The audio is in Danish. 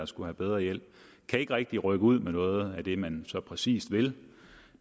skulle have bedre hjælp kan ikke rigtig rykke ud med noget af det man så præcis vil